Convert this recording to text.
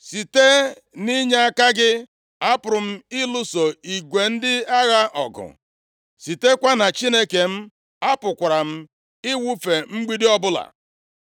Site nʼinyeaka gị, apụrụ m ịlụso igwe ndị agha ọgụ; sitekwa na Chineke m apụkwara m ịwụfe mgbidi ọbụla.